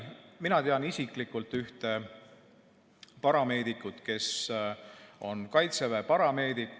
Mina tean isiklikult ühte parameedikut, ta on kaitseväe parameedik.